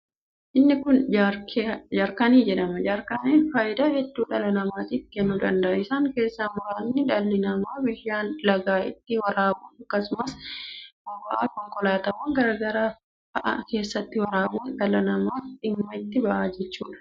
Inni kun jaarkanii jedhama. Jaarkaniin faayidaa hedduu dhala namaatiif kennuu danda'aa. Isaan keessa muraasni dhalli namaa bishaan lagaa ittiin waraabuuf akkasumas boba'a konkolaatawwan garaa garaa fa'a keessatti waraabuun dhalli namaa dhimma itti ba'a jechuudha.